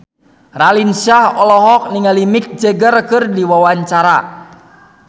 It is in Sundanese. Raline Shah olohok ningali Mick Jagger keur diwawancara